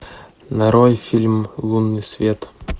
нарой фильм лунный свет